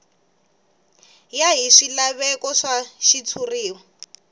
ya hi swilaveko swa xitshuriwa